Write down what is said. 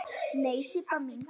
Nei, Sibba mín.